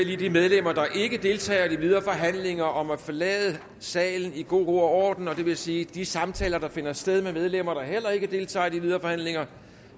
lige de medlemmer der ikke deltager i de videre forhandlinger om at forlade salen i god ro og orden det vil sige at de samtaler der finder sted med medlemmer der heller ikke deltager i de videre forhandlinger